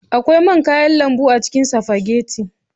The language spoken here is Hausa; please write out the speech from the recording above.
Akwai man kayan lambu a cikin spaghetti.